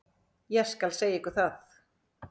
Ég skal segja ykkur það.